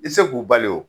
I tɛ se k'u bali wo